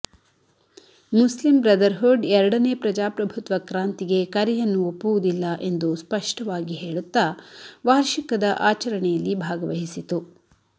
Muslim Brotherhood ಎರಡನೇ ಪ್ರಜಾಪ್ರಭುತ್ವ ಕ್ರಾಂತಿಗೆ ಕರೆಯನ್ನು ಒಪ್ಪುವುದಿಲ್ಲ ಎಂದು ಸ್ಪಷ್ಟವಾಗಿ ಹೇಳುತ್ತಾ ವಾಷರ್ಿಕದ ಆಚರಣೆಯಲ್ಲಿ ಭಾಗವಹಿಸಿತು